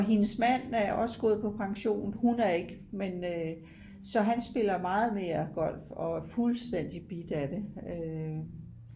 og hendes mand er også gået på pension hun er ik så han spiller meget mere golf og er fuldstændigt bidt af det